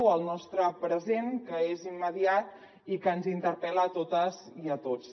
o el nostre present que és immediat i que ens interpel·la a totes i a tots